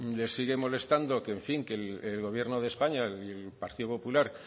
le sigue molestando que el gobierno de españa y el partido popular